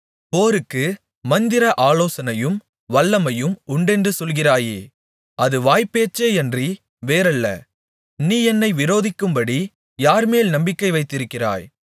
போருக்கு மந்திர ஆலோசனையும் வல்லமையும் உண்டென்று சொல்கிறாயே அது வாய்ப்பேச்சேயன்றி வேறல்ல நீ என்னை விரோதிக்கும்படி யார்மேல் நம்பிக்கை வைத்திருக்கிறாய்